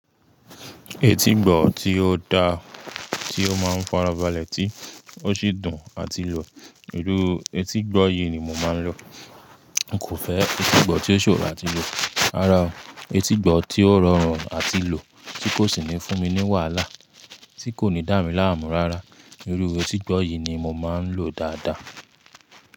Etígbọ̀ tí ó da, tí ó máa ń farabalẹ̀ tí ó sì dùn àti lò. Irú etígbọ̀ yìí ni mo máa ń lò. N kò fẹ́ etígbọ̀ tí ó ṣòro àti lò rárá. Etígbọ̀ tí ó rọrùn àti lò tí kò sì ní fún mi ní wàhálà, tí kò ní dá mi láàmú rárá. Èrú etígbọ̀ yìí ni mo máa ń lò dáadáa.